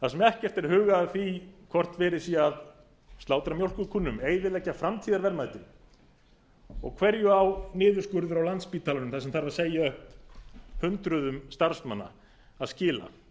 þar sem ekkert er hugað að því hvort verið sé að slátra mjólkur kúnum eyðileggja framtíðarverðmætin hverju á niðurskurðurinn á landspítalanum þar sem þarf að segja upp hundruðum starfsmanna að skila